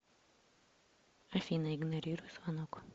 афина игнорируй звонок